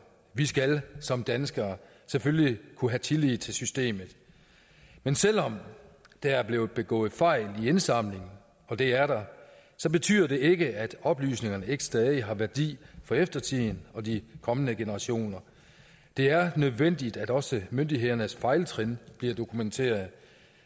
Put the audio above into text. vi skal som danskere selvfølgelig kunne have tillid til systemet men selv om der er blevet begået fejl i indsamlingen og det er der betyder det ikke at oplysningerne ikke stadig har værdi for eftertiden og de kommende generationer det er nødvendigt at også myndighedernes fejltrin bliver dokumenteret